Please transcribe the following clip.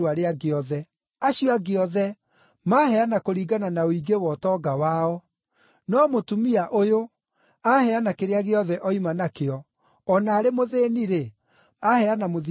Acio angĩ othe maheana kũringana na ũingĩ wa ũtonga wao, no mũtumia ũyũ aheana kĩrĩa gĩothe oima nakĩo, o na arĩ mũthĩĩni-rĩ, aheana mũthithũ wake wothe.”